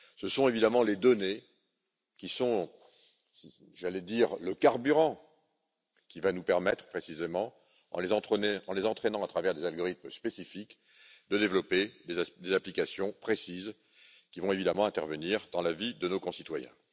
Ce sont évidemment les données qui sont, allais je dire, le carburant qui va nous permettre précisément, en les entraînant à travers des algorithmes spécifiques, de développer des applications précises qui vont évidemment intervenir dans la vie de nos concitoyens.